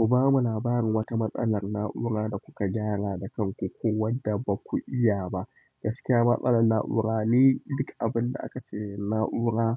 Ku bamu labarin wata matsalar na'ura da kuka gyara da kanku ko wadda baku iya ba. Gaskiya matsalar na'ura ni duk abin da aka ce na'ura